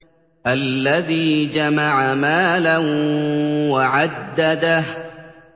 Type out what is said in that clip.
الَّذِي جَمَعَ مَالًا وَعَدَّدَهُ